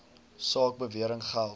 saak bewering geld